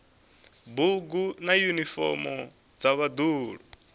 bugu na yunifomo dza vhaḓuhulu